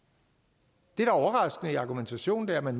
det der er overraskende i argumentationen er at man